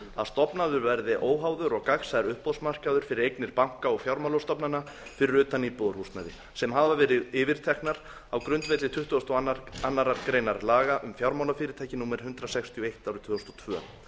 að stofnaður verði óháður og gagnsær uppboðsmarkaður fyrir eignir banka og fjármálastofnana fyrir utan íbúðarhúsnæði sem hafa verið yfirteknar á grundvelli tuttugasta og aðra grein laga um fjármálafyrirtæki númer hundrað sextíu og eitt tvö þúsund og tvö